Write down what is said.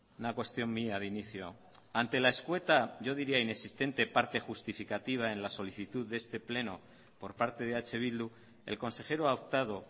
una cuestión mía de inicio ante la escueta yo diría inexistente parte justificativa en la solicitud de este pleno por parte de eh bildu el consejero ha optado